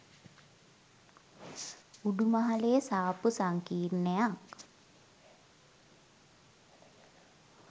උඩු මහලේ සාප්පු සංකීර්ණයක්